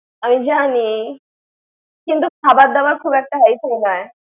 আমি জানি। কিন্তু খাবার দাবার খুব একটা হাইফাই নয়।